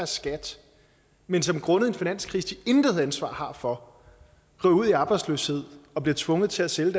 skat men som grundet en finanskrise de intet ansvar har for kommer ud i arbejdsløshed og bliver tvunget til at sælge